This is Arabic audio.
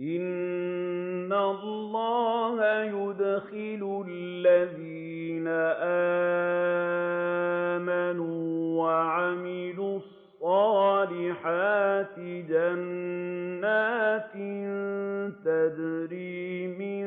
إِنَّ اللَّهَ يُدْخِلُ الَّذِينَ آمَنُوا وَعَمِلُوا الصَّالِحَاتِ جَنَّاتٍ تَجْرِي مِن